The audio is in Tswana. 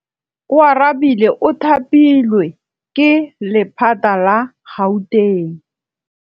Oarabile o thapilwe ke lephata la Gauteng.